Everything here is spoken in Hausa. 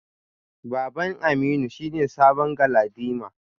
Baban Aminu shine sabon galadima.